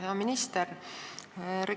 Hea minister!